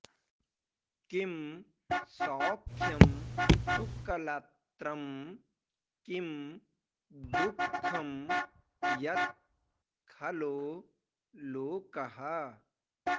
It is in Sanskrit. किं सौख्यं सुकलत्रं किं दुःखं यत् खलो लोकः